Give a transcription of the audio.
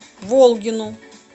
волгину